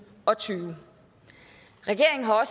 og tyve regeringen har